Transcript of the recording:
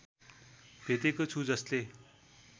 भेटेको छु जसले